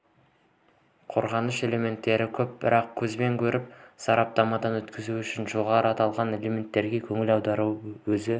қорғағыш элементтер көп бірақ көзбен көріп сараптамадан өткізу үшін жоғарыда аталған элементтерге көңіл аударудың өзі